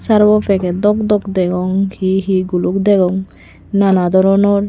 sirbo packet dokdok degong hihi guluk degong nana doronor.